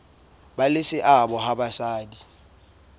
ba le seabo ha basadi